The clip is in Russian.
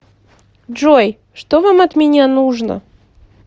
джой что вам от меня нужно